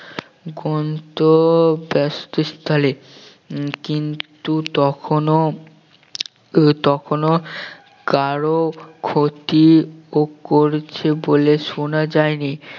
গন্তব্যস্থলে উম কিন্তু কখনও কখনও কারো ক্ষতি ও করেছে বলে শোনা যায় নি